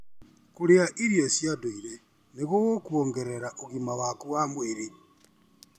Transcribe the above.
Kũrĩa irio cia ndũire nĩ gũkuongerera ũgima waku wa mwĩrĩ.